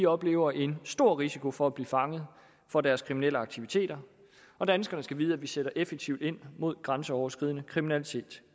oplever en stor risiko for at blive fanget for deres kriminelle aktiviteter og danskerne skal vide at vi sætter effektivt ind mod grænseoverskridende kriminalitet